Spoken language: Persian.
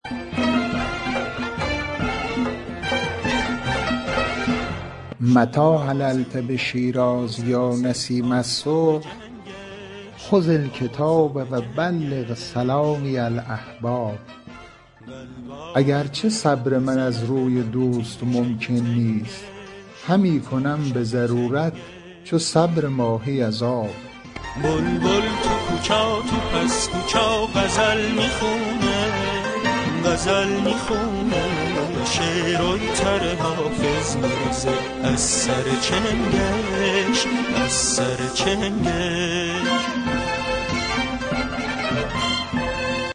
متیٰ حللت بشیراز یا نسیم الصبح خذ الکتاب و بلغ سلامی الأحباب اگر چه صبر من از روی دوست ممکن نیست همی کنم به ضرورت چو صبر ماهی از آب